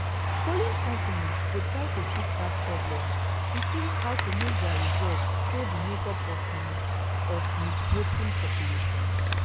polling companies go try to fix dat problem including how to make dia results show di makeup of di of di voting population